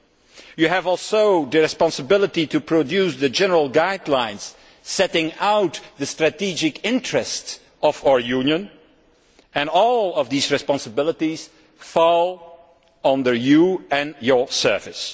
She also has the responsibility to produce the general guidelines setting out the strategic interests of our Union, and all of these responsibilities fall on her and her service.